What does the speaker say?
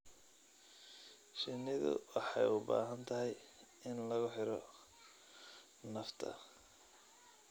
Shinnidu waxay u baahan tahay in lagu xidho nafta.